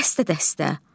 Dəstə-dəstə.